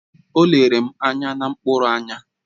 O lere m anya na mkpụrụ anya